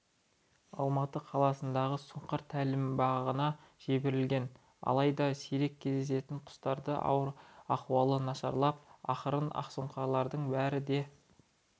алматы қаласындағы сұңқар тәлімбағына жіберілген алайда сирек кездесетін құстардың ахуалы нашарлап ақырында ақсұңқарлардың бәрі де